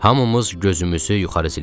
Hamımız gözümüzü yuxarı zillədik.